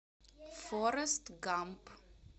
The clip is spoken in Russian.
форест гамп